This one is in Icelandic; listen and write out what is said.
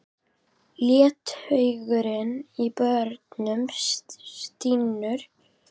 Letihaugurinn í börunum stynur.